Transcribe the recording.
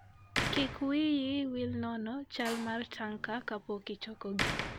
Kik wiyi wil nono chal mar tanka kapok ichokogi.